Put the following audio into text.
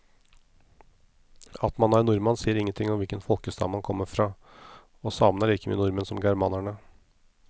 At man er nordmann sier ingenting om hvilken folkestamme man kommer fra, og samene er like mye nordmenn som germanerne.